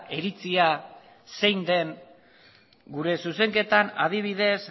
iritzia zein den gure zuzenketan adibidez